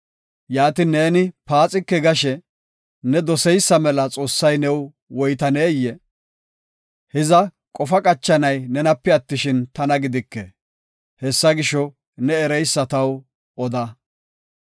Yaatin neeni paaxike gashe, ne doseysa mela Xoossay new woytaneyee? Hiza qofa qachanay nenape attishin, tana gidike; hessa gisho, ne ereysa taw oda.